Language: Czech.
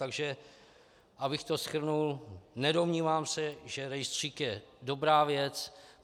Takže abych to shrnul, nedomnívám se, že rejstřík je dobrá věc.